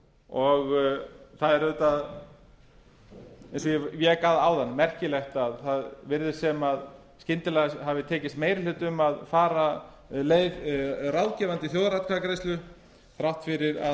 það er auðvitað eins og ég vík að áðan merkilegt að svo virðist sem skyndilega hafi tekist meiri hluti um að fara leið ráðgefandi þjóðaratkvæðagreiðslu þrátt fyrir að